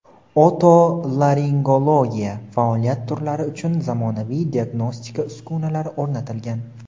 otolaringologiya faoliyat turlari uchun zamonaviy diagnostika uskunalari o‘rnatilgan.